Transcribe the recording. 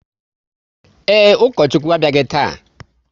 Ee, Ukochukwu abịaghị taa